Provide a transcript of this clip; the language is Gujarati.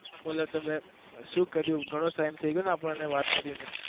બોલો તમે શું કર્યું ઘણો time થઇ ગયો ને આપણને વાત કરીને